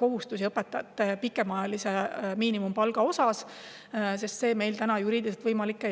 kohustusi, mis on seotud õpetajate pikemaajalise miinimumpalgaga, sest see ei ole juriidiliselt võimalik.